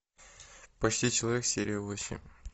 почти человек серия восемь